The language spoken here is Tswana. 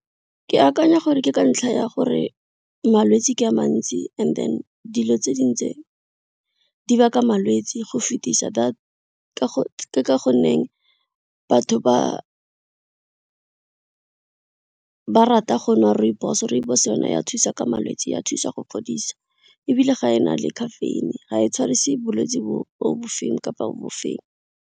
Ke akanya gore ke ka ntlha ya gore malwetsi ke a mantsi and then dilo tse dingwe tse di baka malwetsi go fetisa ke ka gonne batho ba ba rata go nwa rooibos, rooibos yona ya thusa ka malwetse ya thusa go fodisa ebile ga e na le caffeine ga e tshwarise bolwetsi bo bo bofeng kapa bofeng.